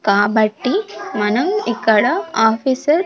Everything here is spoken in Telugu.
కాబట్టి మనం ఇక్కడ ఆఫీసర్ .